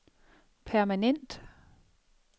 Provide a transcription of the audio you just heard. permanent